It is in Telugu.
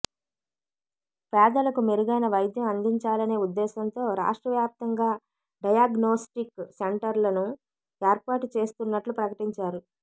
పేదలకు మెరుగైన వైద్యం అందించాలనే ఉద్దేశంతో రాష్ట్రవ్యాప్తంగా డయాగ్నోస్టిక్ సెంటర్లను ఏర్పాటు చేస్తున్నట్లు ప్రకటించారు